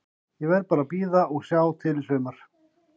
Ég verð bara að bíða og sjá til í sumar.